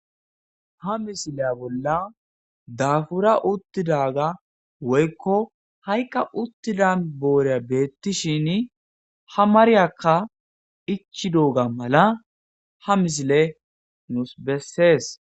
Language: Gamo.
Ha misilya bolla dafura uththidara woyikko hayikka boriya betishshen ha mariyakka ichchidogga malla ha misile nusi beses.